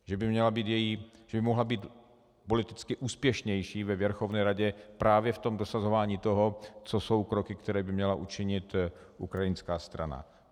Že by mohla být politicky úspěšnější ve Věrchovne radě právě v tom dosahování toho, co jsou kroky, které by měla učinit ukrajinská strana.